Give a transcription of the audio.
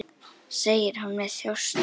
segir hún með þjósti.